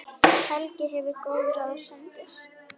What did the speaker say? Helgi gefur góð ráð, sendir